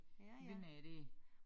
Vinduer dér